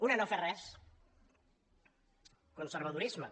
una no fer res conservadorisme